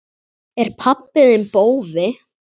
Er pabbi þinn bófi?